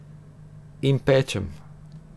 In pečem.